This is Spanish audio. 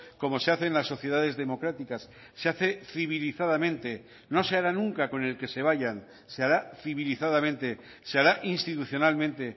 como se hace en las sociedades democráticas se hace civilizadamente no se hará nunca con el que se vayan se hará civilizadamente se hará institucionalmente